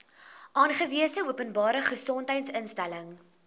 aangewese openbare gesondheidsinstelling